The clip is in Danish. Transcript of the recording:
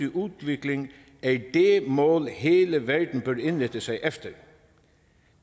udvikling er det mål hele verden bør indrette sig efter